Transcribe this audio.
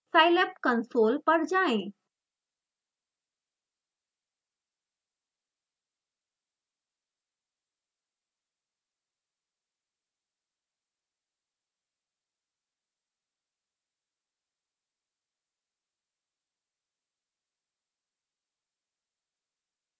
scilab console पर जाएँ